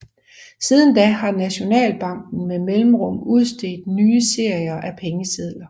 Siden da har Nationalbanken med mellemrum udstedt nye serier af pengesedler